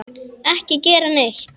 Ekki gera neitt.